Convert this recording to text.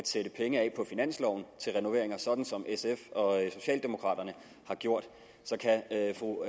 sat penge af på finansloven til renoveringer sådan som sf og socialdemokraterne har gjort kan fru